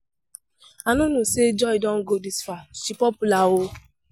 I no know say Joy don go dis far. She popular oo